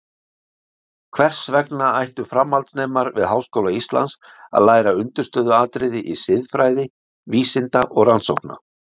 Hvers vegna ættu framhaldsnemar við Háskóla Íslands að læra undirstöðuatriði í siðfræði vísinda og rannsókna?